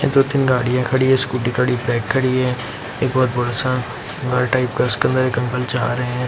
दो तीन गाड़ियां खड़ी है स्कूटी खड़ी है बाइक खड़ी है एक बहोत बड़ा सा घर टाइप का उसके अंदर एक अंकल जा रहे है।